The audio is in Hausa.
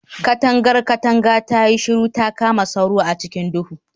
Katangar katanga tayi shiru ta kama sauro a cikin duhu